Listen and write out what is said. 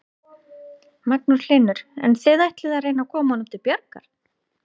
Magnús Hlynur: En þið ætlið að reyna að koma honum til bjargar?